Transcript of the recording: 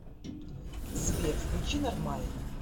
сбер включи нормально